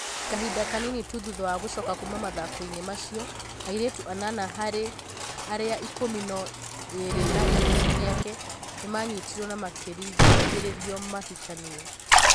Kahinda kanini tu thutha wa gũcoka kuuma mathako-inĩ macio, airĩtu anana harĩ arĩa ikũmi na ĩrĩ a gĩkundi gĩake nĩ maanyitirũo na makĩringĩrĩrio mahikanie.